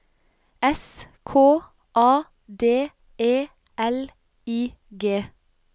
S K A D E L I G